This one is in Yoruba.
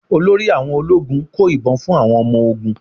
Olórí àwọn ológun kó ìbọn fún àwọn ọmọ ogún.